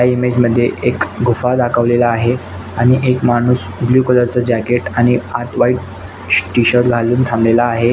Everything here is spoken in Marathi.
या इमेजअ एक मध्ये गुफा दाखवलेला आहे आणि एक माणुस ब्लू कलर च जाकेट आणि आत व्हाइट टी टीशर्ट घालुन थांबलेला आहे.